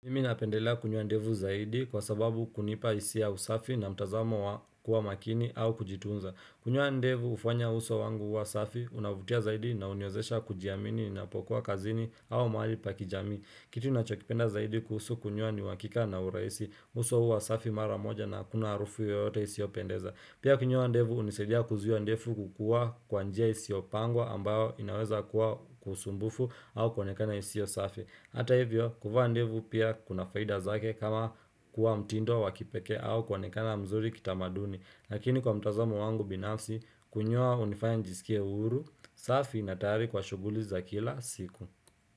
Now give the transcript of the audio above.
Mimi napendelea kunyoa ndevu zaidi kwa sababu hunipa hisia ya usafi na mtazamo kuwa makini au kujitunza. Kunyka ndevu ufanya uso wangu kuwa safi, unavutia zaidi na uniwezesha kujiamini napokua kazini au mahali pa kijamii Kitu nachokipenda zaidi kuhusu kunyoa ni uhakika na uraisi, uso huwas afi mara moja na hakuna harufu yoyote isi opendeza. Pia kunyoa ndevu unisaidia kuzuia ndevu kukua kwa njia isiyopangwa ambayo inaweza kuwa kusumbufu au kuonekana isiyo safi. Hata hivyo, kuvaa ndevu pia kuna faida zake kama kuwa mtindo wa wakipekee au kuonekana mzuri kitamaduni Lakini kwa mtazamo wangu binafsi, kunyoa unifanya njisikia huru, safi na tayari kwa shughuli za kila siku.